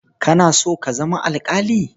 Kana so ka zama alƙali?